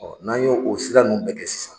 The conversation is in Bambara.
Ɔ n'an ye o sira nunnu bɛɛ kɛ sisan